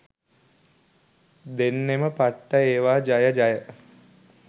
දෙන්නෙම පට්ට ඒවා ජය ජය.